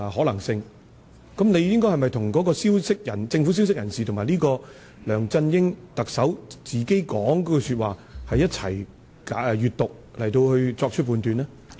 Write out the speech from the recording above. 你是否應該一併閱讀那位政府消息人士及梁振英特首所說的話來作出判斷呢？